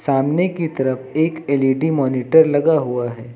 सामने की तरफ एक एल_इ_डी मॉनिटर लगा हुआ है।